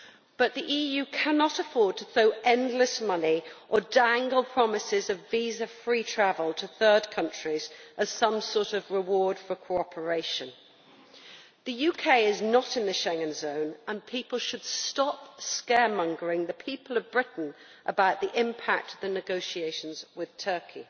But the EU cannot afford to throw endless money or dangle promises of visa free travel to third countries as some sort of reward for cooperation. The UK is not in the Schengen zone, and people should stop scaremongering the people of Britain about the impact of the negotiations with Turkey.